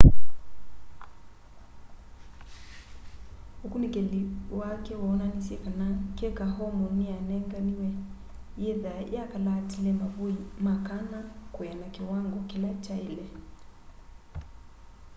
ukunikili wake woonanisye kana keka hormone niyanenganiwe yithwa yakalaatile mavui ma kana kwiana kiwango kila kyaile